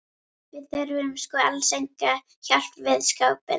Við þurftum sko alls enga hjálp við skápinn.